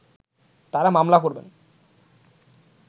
তারা মামলা করবেন